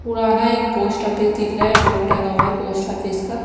पुराना एक post office दिख रहा है बहुत टंगा हुआ है पोस्ट ऑफिस का--